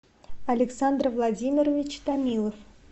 александр владимирович томилов